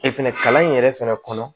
fɛnɛ kalan in yɛrɛ fɛnɛ kɔnɔ